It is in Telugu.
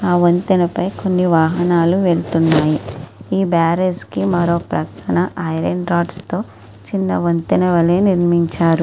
ఆ వంతెన పై కొన్ని వాహనాలు వెళుతున్నాయి. ఈ బ్యారేజ్ కి మరో ప్రక్కన ఐరన్ రాడ్స్ తో కింద వంతెన వాలే నిర్మించారు.